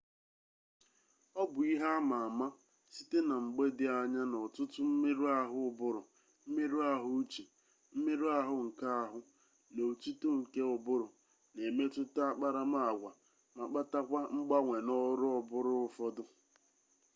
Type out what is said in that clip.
obu ihe ama-ama site na mgbe di anya na otutu mmeru-ahu uburu mmeru-ahu uche mmeru-ahu nke ahu na otuto nke uburu n’emututa akparama-agwa ma kpatakwa mgbanwe na oru oburu ufodu